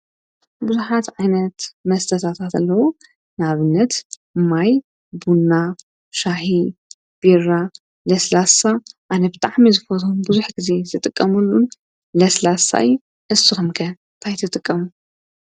ብዙሓት ዓይነት መስተታት ኣለዉ ንኣብነት ማይ፣ ቡና፣ ሻሂ ፣ቢራ፣ ለስላሳ ኣነ ብጣዕሚ ዝፈትዎ ብዙሕ ግዘ ዝጥቀመሉን ለስላሳ እዩ እስኩም ከ ታይ ትጥቀሙ?